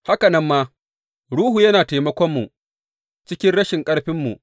Haka nan ma, Ruhu yana taimakonmu cikin rashin ƙarfinmu.